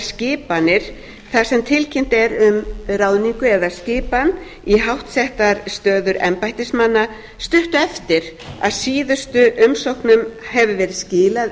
þar sem tilkynnt er um ráðningu eða skipan í háttsettar stöður embættismanna stuttu eftir að síðustu umsóknum hefur verið skilað